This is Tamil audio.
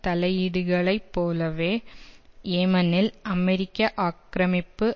தலையீடுகளைப் போலவே யேமனில் அமெரிக்க ஆக்கிரமிப்பு